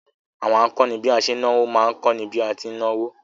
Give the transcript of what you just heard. Àwọn akọ́ni bí a ṣe ń náwó má ń kọ́ni bí a ti ń náwó